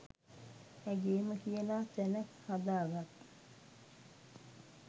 ඇගේම කියලා තැනක් හදා ගත්